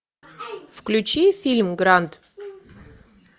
включи фильм гранд